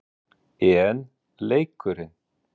En leikurinn?